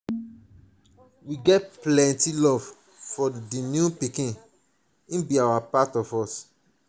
we get plenty love for di new pikin im be part of us.